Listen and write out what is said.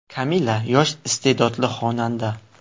Kamilla yosh, iste’dodli xonanda.